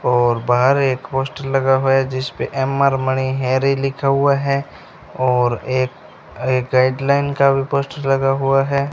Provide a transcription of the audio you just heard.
और बाहर एक पोस्टर लगा हुआ है जिस पे एम_आर मनी हैरी लिखा हुआ है और एक एक गाइडलाइन का भी पोस्टर लगा हुआ है।